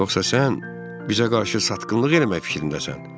Yoxsa sən bizə qarşı satqınlıq eləmək fikrindəsən?